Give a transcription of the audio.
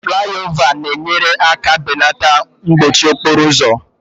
Flayova na-enyere aka belata mkpọchi okporo ụzọ